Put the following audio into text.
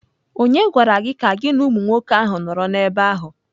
Ònye gwara gị ka gị na umụ nwoke ahụ nọrọ n'ebe ahụ?